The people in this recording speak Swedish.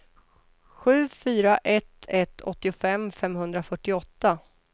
sju fyra ett ett åttiofem femhundrafyrtioåtta